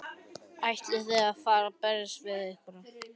Ætlið þið að fara að berjast við einhverja?